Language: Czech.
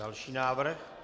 Další návrh.